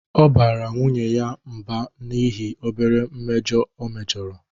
Ọ bara nwunye ya mb an'ihi obere mmejọ o mejọrọ